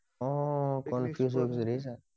অ confuse হৈ গৈছো দেখিচা